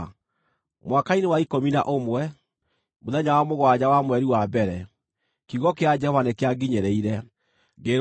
Mwaka-inĩ wa ikũmi na ũmwe, mũthenya wa mũgwanja wa mweri wa mbere, kiugo kĩa Jehova nĩkĩanginyĩrĩire, ngĩĩrwo atĩrĩ: